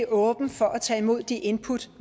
åben for at tage imod de input